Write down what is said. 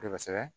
Kosɛbɛ